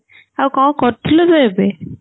ଆଉ କଣ କରୁଥିଲୁ ତୁ ଏବେ ?